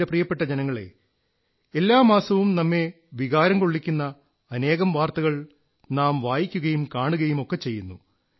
എന്റെ പ്രിയപ്പെട്ട ജനങ്ങളേ എല്ലാ മാസവും നമ്മെ വികാരം കൊള്ളിക്കുന്ന അനേകം വാർത്തകൾ നാം വായിക്കുകയും കാണുകയുമൊക്കെ ചെയ്യുന്നു